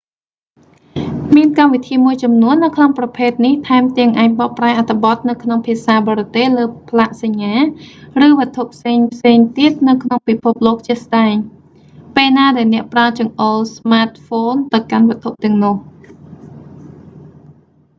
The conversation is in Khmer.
មានកម្មវិធីមួយចំនួននៅក្នុងប្រភេទនេះថែមទាំងអាចបកប្រែអត្ថបទនៅក្នុងភាសាបរទេសលើផ្លាកសញ្ញា ឬវត្ថុផ្សេងៗទៀតនៅក្នុងពិភពលោកជាក់ស្តែង ពេលណាដែលអ្នកប្រើចង្អុលស្មាតហ្វូនទៅកាន់វត្ថុទាំងនោះ